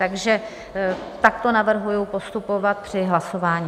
Takže takto navrhuji postupovat při hlasování.